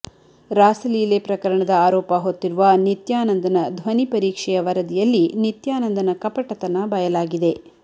ರಾಸಲೀಲೆ ಪ್ರಕರಣದ ಆರೋಪ ಹೊತ್ತಿರುವ ನಿತ್ಯಾನಂದನ ಧ್ವನಿ ಪರೀಕ್ಷೆಯ ವರದಿಯಲ್ಲಿ ನಿತ್ಯಾನಂದನ ಕಪಟತನ ಬಯಲಾಗಿದೆ